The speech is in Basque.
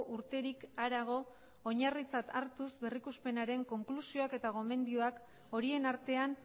urterik harago oinarritzat hartuz berrikuspenaren konklusioak eta gomendioak horien artean